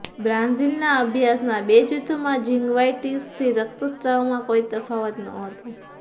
બ્રાઝિલના અભ્યાસના બે જૂથોમાં જિન્ગવાઇટીસથી રક્તસ્રાવમાં કોઈ તફાવત નહોતો